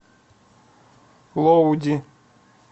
лоуди